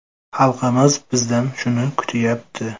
Xalqimiz bizdan shuni kutyapti.